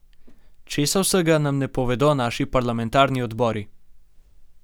Česa vsega nam ne povedo naši parlamentarni odbori!